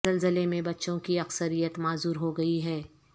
زلزلے میں بچوں کی اکثریت معذور ہو گئی ہے